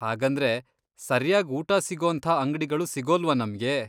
ಹಾಗಂದ್ರೆ, ಸರ್ಯಾಗ್ ಊಟ ಸಿಗೋಂಥ ಅಂಗ್ಡಿಗಳು ಸಿಗೋಲ್ವಾ ನಮ್ಗೆ?